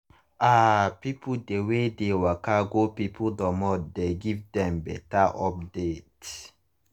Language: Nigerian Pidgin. ah people dey wey dey waka go people dormot dey give dem better update.